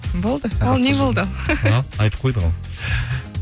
болды ал не болды ал айтып койдық ау